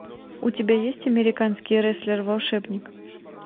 у тебя есть американский рестлер волшебник